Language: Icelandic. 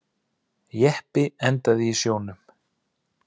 Jeppi endaði í sjónum